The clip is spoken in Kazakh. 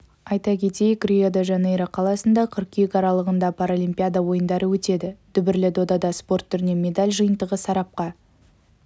айта кетейік рио-де-жанейро қаласында қыркүйек аралығында паралимпиада ойындары өтеді дүбірлі додада спорт түрінен медаль жиынтығы сарапқа